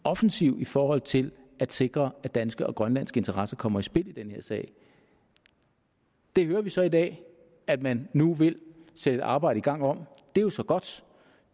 offensiv i forhold til at sikre at danske og grønlandske interesser kommer i spil i den her sag det hører vi så i dag at man nu vil sætte et arbejde i gang om det er jo så godt